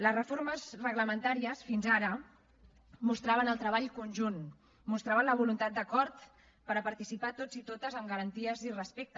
les reformes reglamentàries fins ara mostraven el treball conjunt mostraven la voluntat d’acord per participar tots i totes amb garanties i respecte